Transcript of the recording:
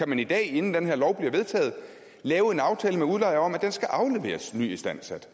man i dag inden den her lov bliver vedtaget lave en aftale med udlejeren om at den skal afleveres nyistandsat